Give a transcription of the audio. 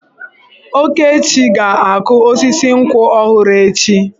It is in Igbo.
Okechi ga-akụ osisi nkwụ ọhụrụ echi.